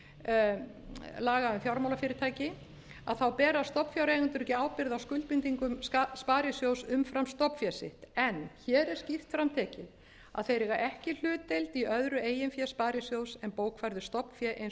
þriðju grein laga um fjármálafyrirtæki bera stofnfjáreigendur ekki ábyrgð á skuldbindingum sparisjóðs umfram stofnfé sitt en hér er skýrt fram tekið að þeir eiga ekki hlutdeild í öðru eigin fé sparisjóðs en bókfærðu stofnfé eins og það er